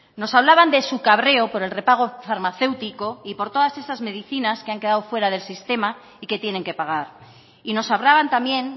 nos hablaban de su cabrero por el prepago farmacéutico y por todas esas medicinas que han quedado fuera del sistema y que tienen que pagar y nos hablaban también